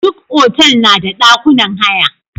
Duk hotal na da dakunan haya.